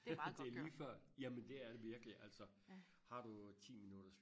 det er lige før jamen det er det virkelig altså har du ti minutters